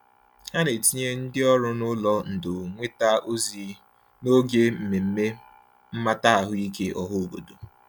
Ha na-etinye ndị ọrụ n'ụlọ ndò nnweta ozi n'oge mmemme mmata ahụike ọhaobodo.